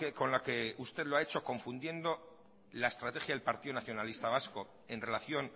con la que usted lo ha hecho confundiendo la estrategia del partido nacionalista vasco en relación